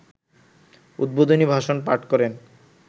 ‘উদ্বোধনী ভাষণ’ পাঠ করেন